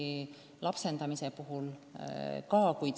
Sama kehtib lapsendamise kohta.